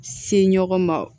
Se ɲɔgɔn ma